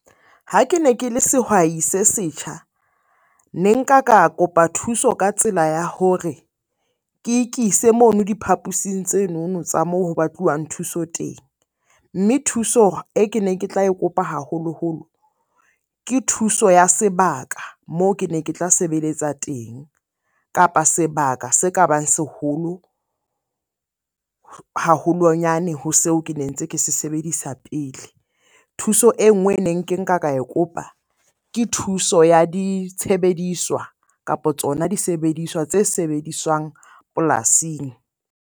Ha ke ne ke le sehwai se setjha. Ne nka ka kopa thuso ka tsela ya hore ke ikise mono diphaposing tsenono tsa moo ho batluwang thuso teng. Mme thuso e ke ne ke tla kopa haholoholo ke thuso ya sebaka moo ke ne ke tla sebeletsa teng. Kapa sebaka se ka bang seholo, haholonyane ho seo ke ne ntse ke se sebedisa pele. Thuso e nngwe e neng ke nka ka e kopa, ke thuso ya ditshebediswa, kapo tsona disebediswa tse sebediswang polasing.